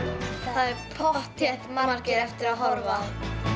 það er pottþétt margir eftir að horfa